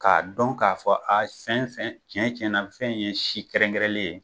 K'a dɔn k'a fɔ a sɛn sɛn tiɲɛ tiɲɛna fɛn ye si kɛrɛnkɛrɛnnen ye